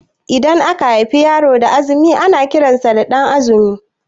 Idan aka haifi yaro da azumi ana kiran sa da Ɗan'azumi